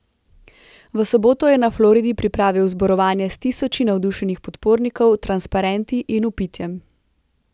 V soboto je na Floridi pripravil zborovanje s tisoči navdušenih podpornikov, transparenti in vpitjem.